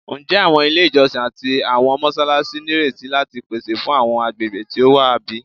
Njẹ awọn ile ijọsin ati awọn mọṣalaṣi nireti lati pese fun awọn agbegbe ti o wa bi?